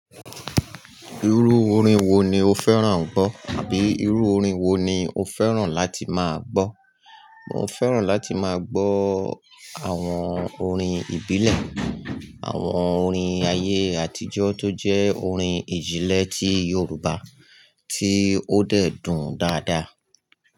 Irú orin wo ni o fẹ́ràn gbọ́ àbí irú orin wo ni o fẹ́ràn láti máa gbọ́? Mo fẹ́ràn láti máa gbọ́ àwọn orin ìbílẹ̀, àwọn orin ayé àtijọ́ tí ó jẹ́ ìjìnlẹ̀ yorùbá, tí ó dè dùn gbọ́ dáadá.